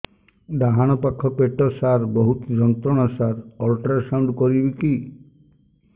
ଡାହାଣ ପାଖ ପେଟ ସାର ବହୁତ ଯନ୍ତ୍ରଣା ସାର ଅଲଟ୍ରାସାଉଣ୍ଡ କରିବି କି